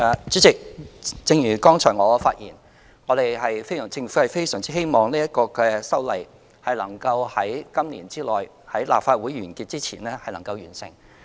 主席，正如剛才我發言，政府非常希望此修例能在今年內，在今屆立法會完結前完成。